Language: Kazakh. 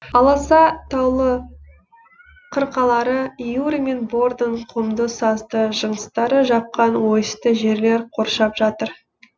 аласа таулы қырқалары юр мен бордың құмды сазды жыныстары жапқан ойысты жерлер қоршап жатыр